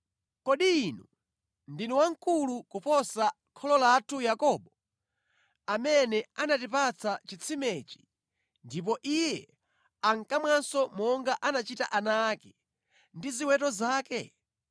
Kodi Inu ndinu wamkulu kuposa kholo lathu Yakobo, amene anatipatsa chitsimechi ndipo iye ankamwanso monga anachita ana ake ndi ziweto zake?”